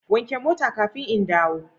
Wanke mota kafin in dawo